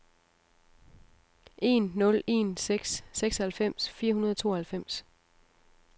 en nul en seks seksoghalvfems fire hundrede og tooghalvfems